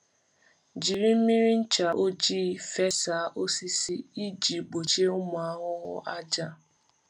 Jiri mmiri ncha ojii fesaa osisi iji gbochie ụmụ ahụhụ àjà.